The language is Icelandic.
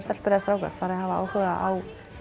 stelpur eða strákar fari að hafa áhuga á